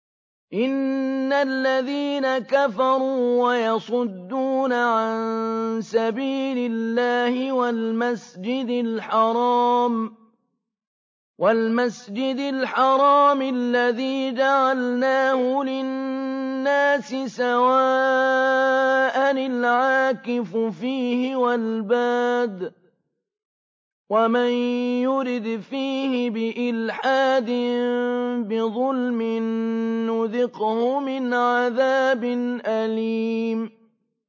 إِنَّ الَّذِينَ كَفَرُوا وَيَصُدُّونَ عَن سَبِيلِ اللَّهِ وَالْمَسْجِدِ الْحَرَامِ الَّذِي جَعَلْنَاهُ لِلنَّاسِ سَوَاءً الْعَاكِفُ فِيهِ وَالْبَادِ ۚ وَمَن يُرِدْ فِيهِ بِإِلْحَادٍ بِظُلْمٍ نُّذِقْهُ مِنْ عَذَابٍ أَلِيمٍ